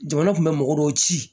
Jamana kun bɛ mɔgɔ dɔw ci